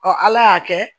ala y'a kɛ